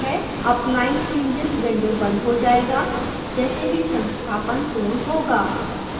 applying changes window बंद हो जायेगा जैसे ही संस्थापन पूर्ण होगा